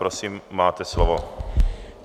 Prosím, máte slovo.